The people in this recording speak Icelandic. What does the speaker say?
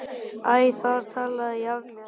Æ, þar talaði ég af mér!